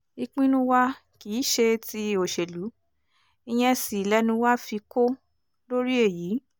ìpinnu wa kì í ṣe tí òṣèlú ìyẹn sì lẹnu wa fi kó lórí èyí